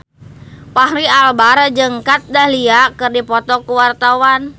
Fachri Albar jeung Kat Dahlia keur dipoto ku wartawan